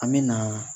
An me na